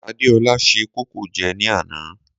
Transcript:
Adéọlá se kókò jẹ ní àná.